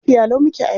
Lafiya lau muke a yau.